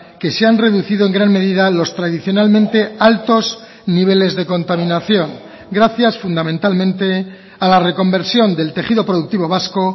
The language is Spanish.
que se han reducido en gran medida los tradicionalmente altos niveles de contaminación gracias fundamentalmente a la reconversión del tejido productivo vasco